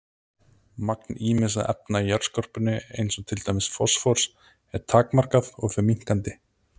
Magn ýmissa efna í jarðskorpunni eins og til dæmis fosfórs er takmarkað og fer minnkandi.